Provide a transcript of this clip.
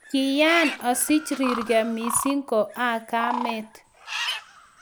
"Kiyaan asich rirgei mising ko agamet."